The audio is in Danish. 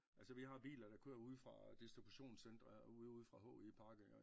Altså vi har biler der kører ude fra distributionscentre ude ude fra HI Park af